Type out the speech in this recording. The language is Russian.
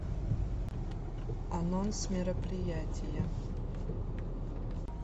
анонс мероприятия